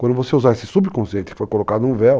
Quando você usar esse subconceito que foi colocado num véu,